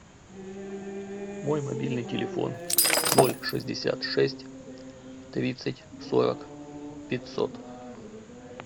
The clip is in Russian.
мой мобильный телефон ноль шестьдесят шесть тридцать сорок пятьсот